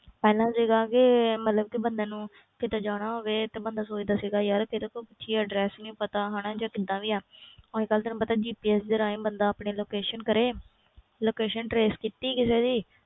ਪਹਿਲਾਂ ਸੀਗਾ ਕਿ ਮਤਲਬ ਕਿ ਬੰਦੇ ਨੂੰ ਕਿਤੇ ਜਾਣਾ ਹੋਵੇ ਤੇ ਬੰਦਾ ਸੋਚਦਾ ਸੀਗਾ ਯਾਰ ਕਿਹਦੇ ਤੋਂ ਪੁੱਛੀਏ address ਨੀ ਪਤਾ ਹਨਾ ਜਾਂ ਕਿੱਦਾਂ ਵੀ ਆ ਅੱਜ ਕੱਲ੍ਹ ਤੈਨੂੰ ਪਤਾ GPS ਦੇ ਰਾਹੀਂ ਬੰਦਾ ਆਪਣੀ location ਕਰੇ location trace ਕੀਤੀ ਕਿਸੇ ਦੀ,